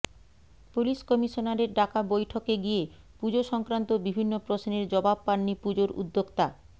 police কমিশনারের ডাকা বৈঠকে গিয়ে পুজো সংক্রান্ত বিভিন্ন প্রশ্নের জবাব পাননি পুজোর উদ্যোক্তা